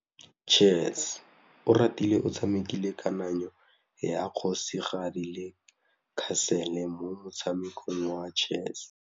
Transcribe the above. Oratile o tshamekile kananyô ya kgosigadi le khasêlê mo motshamekong wa chess.